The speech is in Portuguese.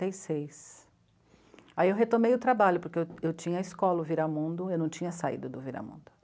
e seis, aí eu retomei o trabalho, porque eu eu tinha a escola, o Viramundo, eu não tinha saído do Viramundo.